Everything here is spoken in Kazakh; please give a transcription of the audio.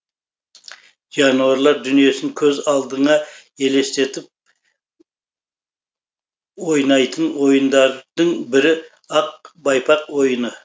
жануарлар дүниесін көз алдыңа елестетіп ойнайтын ойындардың бірі ақ байпақ ойыны